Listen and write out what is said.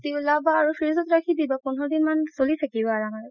উলাবা আৰু fridge ত ৰাখি দিবা পোন্ধৰ দিন মান চলি থাকিব আৰামত